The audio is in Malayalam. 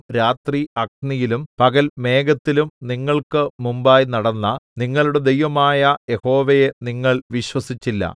രാത്രി അഗ്നിയിലും പകൽ മേഘത്തിലും നിങ്ങൾക്ക് മുമ്പായി നടന്ന നിങ്ങളുടെ ദൈവമായ യഹോവയെ നിങ്ങൾ വിശ്വസിച്ചില്ല